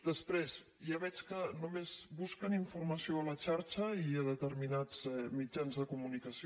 després ja veig que només busquen informació a la xarxa i a determinats mitjans de comunicació